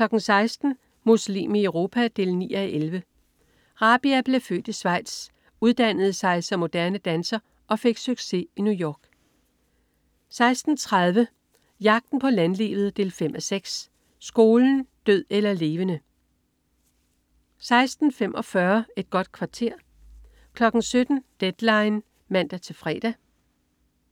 16.00 Muslim i Europa 9:11. Rabia blev født i Schweiz, uddannede sig som moderne danser og fik succes i New York 16.30 Jagten på landlivet. 5:6. Skolen. død eller levende 16.45 Et godt kvarter 17.00 Deadline 17:00 (man-fre)